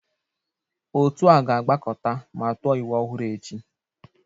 Otu a ga-agbakọta ma tụọ iwu ọhụrụ echi